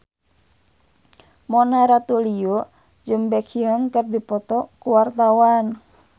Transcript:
Mona Ratuliu jeung Baekhyun keur dipoto ku wartawan